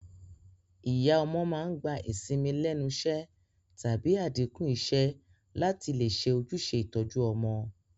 Ìyá ọmọ màá n gba ìsinmi lénusé tàbí àdínkù isé látì lè se ojúse ìtoju ọmọ